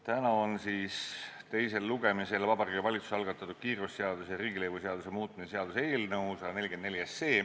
Täna on teisel lugemisel Vabariigi Valitsuse algatatud kiirgusseaduse ja riigilõivuseaduse muutmise seaduse eelnõu 144.